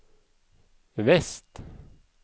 vest